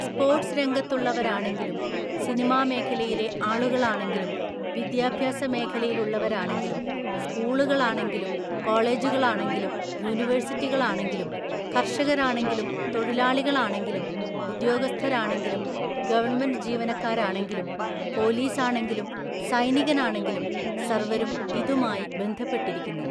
Sports രംഗത്തുള്ളവരാണെങ്കിലും, cinema മേഖലയിലെ ആളുകളാണെങ്കിലും, വിദ്യാഭ്യാസ മേഖലയിലുള്ളവരാണെങ്കിലും, സ്കൂളുകളാണെങ്കിലും, കോളേജുകളാണെങ്കിലും, യൂണിവേഴ്സിറ്റികളാണെങ്കിലും, കർഷകരാണെങ്കിലും, തൊഴിലാളികളാണെങ്കിലും, ഉദ്യോഗസ്ഥരാണെങ്കിലും, ഗവണ്മെന്റ് ജീവനക്കാരാണെങ്കിലും, പോലീസാണെങ്കിലും, സൈനികനാണെങ്കിലും സർവ്വരും ഇതുമായി ബന്ധപ്പെട്ടിരിക്കുന്നു.